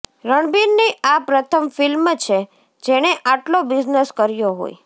રણબીરની આ પ્રથમ ફિલ્મ છે જેણે આટલો બિઝનેસ કર્યો હોય